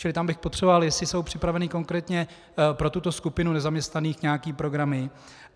Čili tam bych potřeboval, jestli jsou připraveny konkrétně pro tuto skupinu nezaměstnaných nějaké programy.